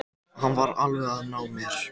Hann var alveg að ná mér